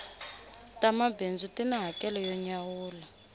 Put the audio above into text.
ta mabindzu ti ni hakelo yo nyawula